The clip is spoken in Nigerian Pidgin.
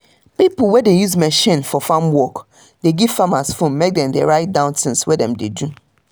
pipo wey dey use machine for farm work dey give farmers phone mek dem write down things wey dem do